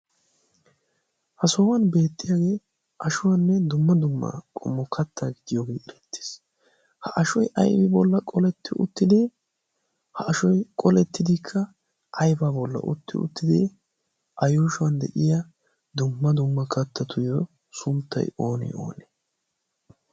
ha sohuwan beettiyaagee ashuwaanne dumma dumma qomo katta gidiyoogee erattiis ha ashoi aibi bolla qoletti uttidi ha ashoi qolettidikka ayba bolla utti uttidi a yuushuwan de'iya dumma dumma kattatuyyo sunttay oonee oonee